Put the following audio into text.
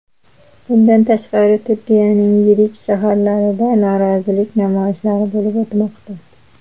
Bundan tashqari, Turkiyaning yirik shaharlarida norozilik namoyishlari bo‘lib o‘tmoqda .